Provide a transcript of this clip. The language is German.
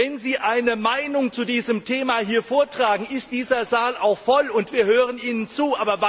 Wenn Sie eine Meinung zu diesem Thema vortragen, dann ist dieser Saal auch voll und wir hören Ihnen zu.